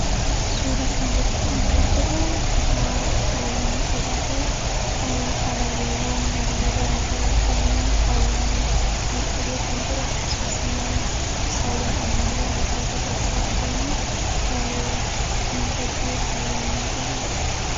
Suura kana irratti kan argaa jiruu kutaa baayyee miidhagaa ta'ee abaaboowwan halluu garaa garaa qabaniin faayyamee miidhagee kan jiru akkasumas immoo ibsaawwan ammayyaa halluu garaa garaa qabaniin miidhagee faayyamee mul'ata.